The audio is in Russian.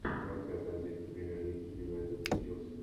трансляция английской премьер лиги юнайтед и челси